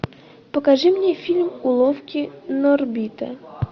покажи мне фильм уловки норбита